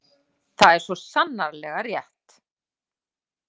Það er svo sannarlega rétt.